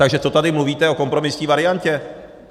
Takže co tady mluvíte o kompromisní variantě?